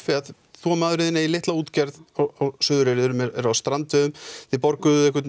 þú og maðurinn þinn eigið litla útgerð á Suðureyri eruð á strandveiðum þið borguðuð einhvern